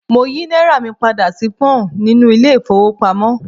Mo yí náírà mi padà sí Pọ́ǹ nínú ilé ìfowópamọ́.